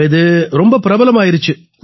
அப்ப இது ரொம்ப பிரபலமாயிருச்சு